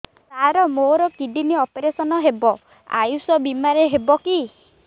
ସାର ମୋର kidney operation ହେବ ଆୟୁଷ ବିମାରେ ହେବ କି